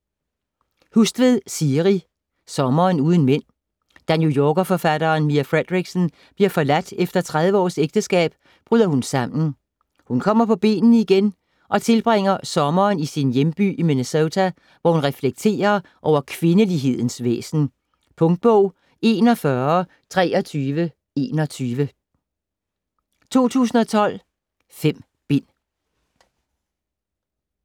Hustvedt, Siri: Sommeren uden mænd Da New Yorker-forfatteren Mia Fredericksen bliver forladt efter 30 års ægteskab, bryder hun sammen. Hun kommer på benene igen og tilbringer sommeren i sin hjemby i Minnesota, hvor hun reflekterer over kvindelighedens væsen. Punktbog 412321 2012. 5 bind.